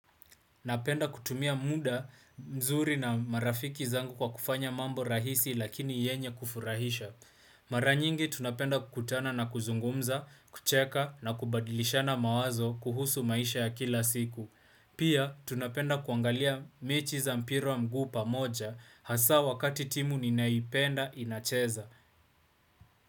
Napenda kutumia muda mzuri na marafiki zangu kwa kufanya mambo rahisi lakini yenye kufurahisha Mara nyingi tunapenda kukutana na kuzungumza, kucheka na kubadilishana mawazo kuhusu maisha ya kila siku Pia tunapenda kuangalia mechi za mpira wa mguu pamoja hasa wakati timu ninaipenda inacheza.